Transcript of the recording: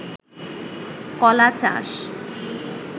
কলা চাষ